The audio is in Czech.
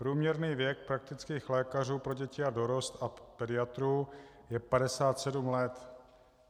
Průměrný věk praktických lékařů pro děti a dorost a pediatrů je 57 let.